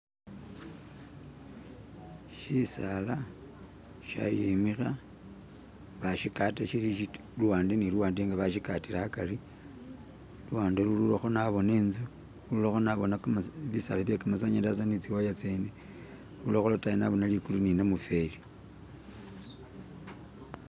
Shisaala shayimikha bashigata shili shitwela luwande ni luwande nga bashigatira hagari luwande lulwilakho naboone intsu lulwilakho naboona bisaala bye kamatsanyalaze ni tsiwaya tsene lulwilakho lotayi naboona likulu ni namufeli.